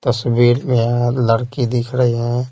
तस्वीर में लड़की दिख रही है।